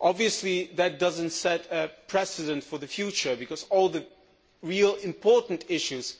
Obviously that does not set a precedent for the future, because all the really important issues